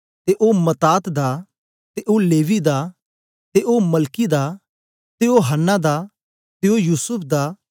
ते ओ मत्तात दा ते ओ लेवी दा ते ओ मलकी दा ते ओ हन्ना दा ते ओ युसूफ दा